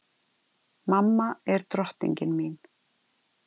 Mamma er drottningin mín.